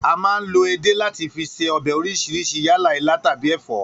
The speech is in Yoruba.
A máa ń lo edé láti fi se o̩bè̩ orís̩irís̩I yálà ilá tàbí è̩fó̩